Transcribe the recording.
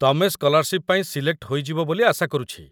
ତମେ ସ୍କଲାର୍‌ସିପ୍‌ ପାଇଁ ସିଲେକ୍ଟ ହୋଇଯିବ ବୋଲି ଆଶା କରୁଛି